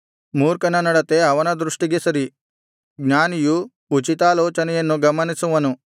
ಮೂರ್ಖನ ನಡತೆ ಅವನ ದೃಷ್ಟಿಗೆ ಸರಿ ಜ್ಞಾನಿಯು ಉಚಿತಾಲೋಚನೆಯನ್ನು ಗಮನಿಸುವನು